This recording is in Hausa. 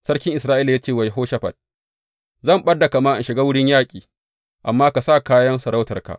Sarkin Isra’ila ya ce wa Yehoshafat, Zan ɓad da kama in shiga wurin yaƙi, amma ka sa kayan sarautarka.